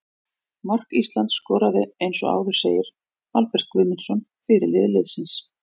Mark Ísland skoraði eins og áður segir Albert Guðmundsson, fyrirliði liðsins.